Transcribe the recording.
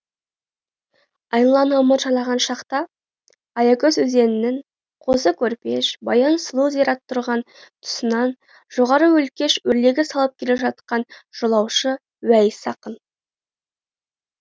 айналаны ымырт жайлаған шақта аякөз өзенінің қозы көрпеш баян сұлу зираты тұрған тұсынан жоғары өлкеш өрлегі салып келе жатқан жолаушы уәйіс ақын